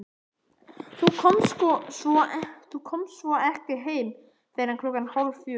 Þú komst svo ekki heim fyrr en klukkan hálffjögur.